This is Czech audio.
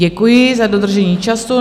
Děkuji za dodržení času.